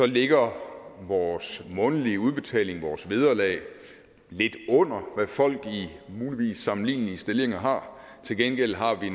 ligger vores månedlige udbetaling vores vederlag lidt under hvad folk i muligvis sammenlignelige stillinger har til gengæld har vi